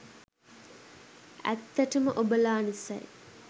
ඇත්තටම ඔබලා නිසයි